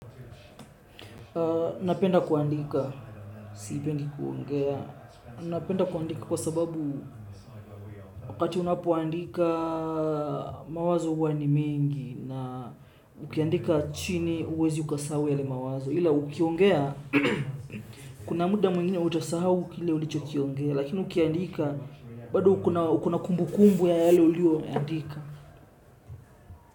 Napenda kuandika, siipendi kuongea. Napenda kuandika kwa sababu wakati unapuandika mawazo huwa ni mengi na ukiandika chini huwezi ukasahau yale mawazo. Ila ukiongea, kuna muda mwingine utasahau kile ulicho kiongea, lakini ukiandika, bado uko na kumbu kumbu ya hale uliyo andika.